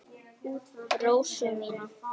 Rósu mína.